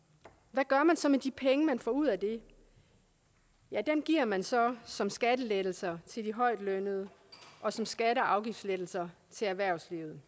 hvad gør man så med de penge man får ud af det ja dem giver man så som skattelettelser til de højtlønnede og som skatte og afgiftslettelser til erhvervslivet